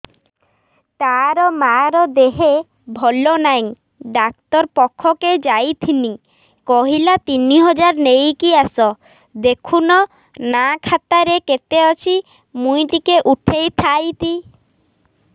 ତାର ମାର ଦେହେ ଭଲ ନାଇଁ ଡାକ୍ତର ପଖକେ ଯାଈଥିନି କହିଲା ତିନ ହଜାର ନେଇକି ଆସ ଦେଖୁନ ନା ଖାତାରେ କେତେ ଅଛି ମୁଇଁ ଟିକେ ଉଠେଇ ଥାଇତି